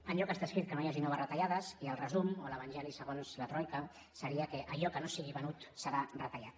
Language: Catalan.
enlloc està escrit que no hi hagin noves retallades i el resum o l’evangeli segons la troica seria que allò que no sigui venut serà retallat